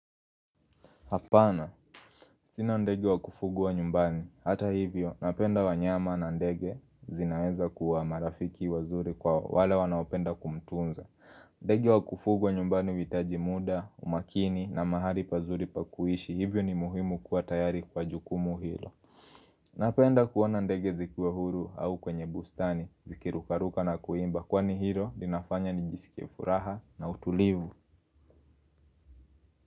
Hapana. Sina ndege wa kufugwa nyumbani. Hata hivyo, napenda wanyama na ndege zinaweza kuwa marafiki wazuri kwa wale wanaopenda kumtunza. Ndege wa kufuguwa nyumbani vitaji muda, umakini na mahali pazuri pakuishi. Hivyo ni muhimu kuwa tayari kwa jukumu hilo. Napenda kuona ndege zikiwa huru au kwenye bustani, ziki rukaruka na kuimba. Kwa ni hilo, linafanya ni jisikie furaha na utulivu.